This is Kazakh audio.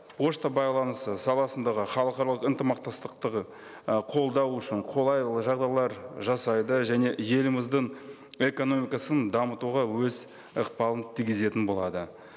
пошта байланысы саласындағы халықаралық ынтымақтастықты ы қолдау үшін қолайлы жағдайлар жасайды және еліміздің экономикасын дамытуға өз ықпалын тигізетін болады